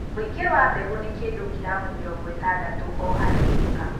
Ũingi wa mbegũ ni kĩndũ giramu mĩrongo ĩtandatũ oo harĩ ika